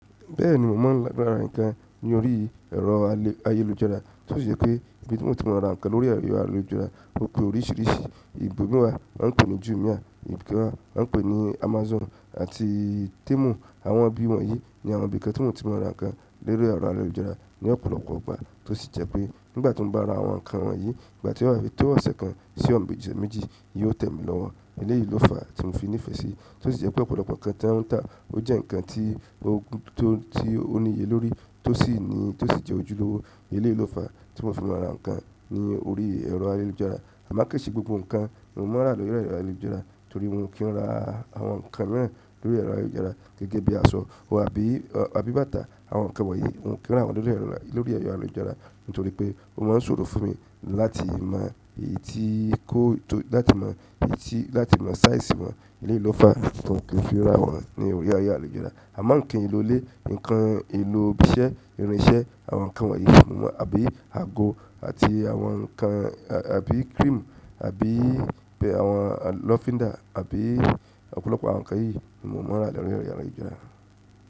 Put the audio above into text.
Bẹ́ẹ̀ni, mo mọ̀ lára ǹkan ní orí ẹ̀rọ ayélujára, tó sì jẹ́ pé ibi tí mo ti mọ̀ ara ǹkan lórí ẹ̀rọ ayélujára o pe oríṣìíríṣìí, ibo mi wàá wọn pè ní jumia, ibi kan wọ́n pè ní Amazon àti Temu. Àwọn ibi wọ̀nyí ni àwọn ibi kan tí mo ti mọ̀ ara ǹkan lórí ẹ̀rọ ayélujára ní ọ̀pọ̀lọpọ̀ ọgbà, tó sì jẹ́ pé nígbà tí mo bá ra àwọn ǹkan wọ̀nyí, ìgbà tí ó bá fi tó ọ̀sẹ̀ kan sí ọ̀sẹ̀ méjì, yóò tẹ̀mi lọ́wọ́. Eléyìí ló fàá tí mo fi nífẹ̀ẹ́ sí i, tó sì jẹ́ pé ọ̀pọ̀lọpọ̀ ǹkan tán tán, ó jẹ́ ǹkan tó níye lórí, tó sì jẹ́ ojúlówó. Eléyìí ló fàá tí mo fi mọ̀ ara ǹkan ní orí ẹ̀rọ ayélujára. A máa ń kẹ́ṣìí gbogbo ǹkan, èmi ò mọ̀ ara rẹ̀ lórí ẹ̀rọ ayélujára torí mo kí ń rà àwọn ǹkan mìíràn lórí ẹ̀rọ ayélujára gẹ́gẹ́ bí aṣọ àbí bàtà, àwọn ǹkan wọ̀nyí mo kí ń rà wọ́n lórí ẹ̀rọ ayélujára nítorí pé ó máa ń ṣòro fún mi láti mọ èyí tí kó tó, láti mọ èyí tí, láti mọ size wọ́n. Eléyìí ló fàá kí n lè fi ra wọ́n ní orí ayélujára. A má ń kì í lo ilé, ǹkan èlò ibi iṣẹ́, irin iṣẹ́, àwọn ǹkan wọ̀nyí, èmi ò mọ̀ mọ́ àbí ago àti àwọn ǹkan àbí cream àbí àwọn lọfinda àbí ọ̀pọ̀lọpọ̀ àwọn ǹkan yìí èmi ò mọ̀ ara rẹ̀ lórí ẹ̀rọ ayélujára.